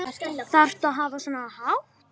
Þarftu að hafa svona hátt?